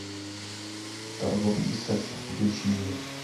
торговцы сексом включи мне